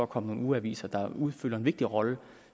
komme nogle ugeaviser der udfylder en vigtig rolle